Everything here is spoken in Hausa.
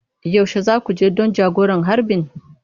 Yaushe za ku je don jagoran harbin?